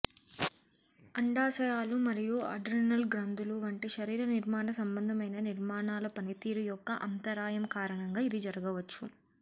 అండాశయాలు మరియు అడ్రినల్ గ్రంథులు వంటి శరీర నిర్మాణ సంబంధమైన నిర్మాణాల పనితీరు యొక్క అంతరాయం కారణంగా ఇది జరగవచ్చు